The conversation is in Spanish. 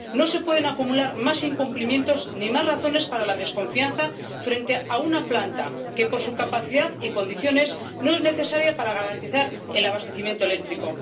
No se pueden acumular más incumplimientos ni más razones para la desconfianza frente a una planta que, por su capacidad y condiciones, no es necesaria para garantizar el abastecimiento eléctrico.